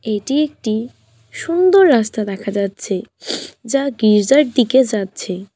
এটি একটি সুন্দর রাস্তা দেখা যাচ্ছে যা গির্জার দিকে জাচ্ছে।